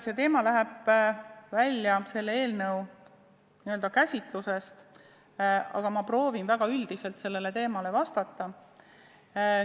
See teema läheb välja selle eelnõu n-ö käsitlusest, aga ma proovin väga üldiselt sellele küsimusele vastata.